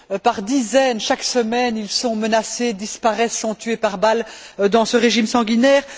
Par dizaines, chaque semaine, ils sont menacés, disparaissent, sont tués par balles, dans ce régime sanguinaire.